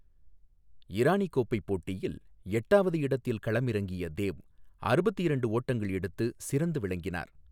இரானி கோப்பை போட்டியில், எட்டாவது இடத்தில் களமிறங்கிய தேவ் அறுபத்து இரண்டு ஓட்டங்கள் எடுத்து சிறந்து விளங்கினார்.